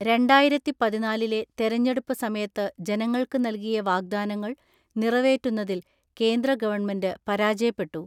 രണ്ടായിരത്തിപതിനാലിലെ തെരഞ്ഞെടുപ്പ് സമയത്ത് ജനങ്ങൾക്ക് നൽകിയ വാഗ്ദാനങ്ങൾ നിറവേറ്റുന്നതിൽ കേന്ദ്ര ഗവൺമെന്റ് പരാജയപ്പെട്ടു.